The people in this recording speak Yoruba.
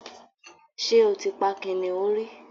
Ṣé o ti pa kìnnìún rí?